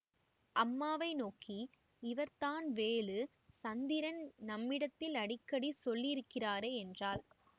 அம்மாவை நோக்கி இவர்தான் வேலு சந்திரன் நம்மிடத்தில் அடிக்கடி சொல்லியிருக்கிறாரே என்றாள்